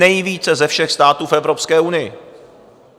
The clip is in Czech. Nejvíce ze všech států v Evropské unii.